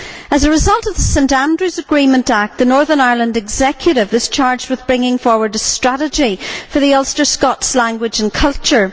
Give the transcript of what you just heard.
As a result of the St Andrews Agreement Act, the Northern Ireland Executive is charged with bringing forward a strategy for the Ulster Scots language and culture.